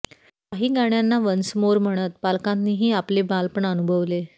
काही गाण्यांना once more म्हणत पालकांनीही आपले बालपण अनुभवले